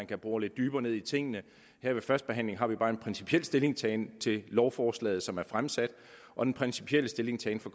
kan bore lidt dybere ned i tingene her ved førstebehandlingen fremfører vi bare en principiel stillingtagen til lovforslaget som er fremsat og den principielle stillingtagen fra